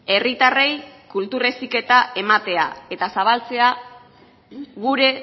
herritarrei kultur heziketa ematea eta zabaltzea gure